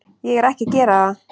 Ég er ekki að gera það.